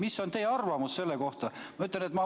Mis on teie arvamus selle kohta?